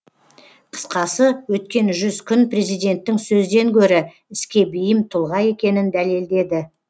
қысқасы өткен жүз күн президенттің сөзден гөрі іске бейім тұлға екенін дәлелдеді